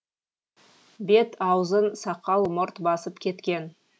бет аузын сақал мұрт басып кеткен